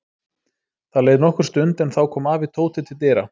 Það leið nokkur stund en þá kom afi Tóta til dyra.